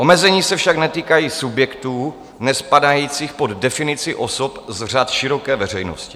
Omezení se však netýkají subjektů nespadajících pod definici osob z řad široké veřejnosti.